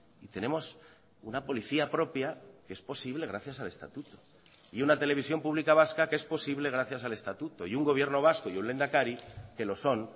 y tenemos una policía propia que es posible gracias al estatuto y una televisión pública vasca que es posible gracias al estatuto y un gobierno vasco y un lehendakari que lo son